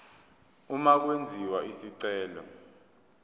uma kwenziwa isicelo